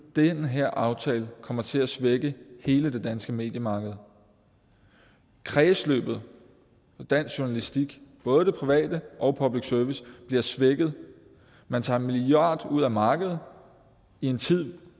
den her aftale kommer til at svække hele det danske mediemarked kredsløbet og dansk journalistik både den private og public service bliver svækket man tager en milliard ud af markedet i en tid